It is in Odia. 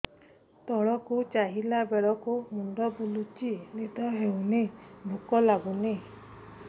ତଳକୁ ଚାହିଁଲା ବେଳକୁ ମୁଣ୍ଡ ବୁଲୁଚି ନିଦ ହଉନି ଭୁକ ଲାଗୁନି